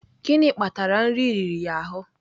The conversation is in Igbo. Gịnị kpatara nri riri ya ahụ?